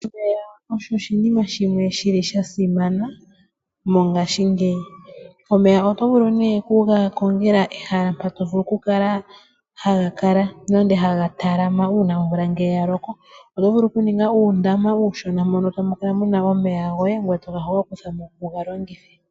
Omeya ogasimana mongashingeyi. Omeya ohaga vulu okukongelwa ehala mpoka taga vulu okupungulwa uuna omvula yaloko. Oto vulu okuninga uundama mono tamu kala muna omeya.